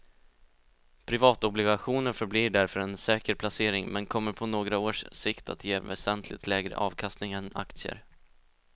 Privatobligationer förblir därför en säker placering men kommer på några års sikt att ge väsentligt lägre avkastning än aktier.